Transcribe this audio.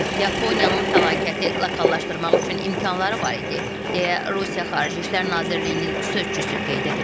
Yaponiyanın fəlakəti lokallaşdırmaq üçün imkanları var idi, deyə Rusiya Xarici İşlər Nazirliyinin sözçüsü qeyd edib.